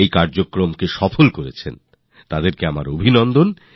সেই জন্য আমি এদের সবার কাছে কৃতজ্ঞ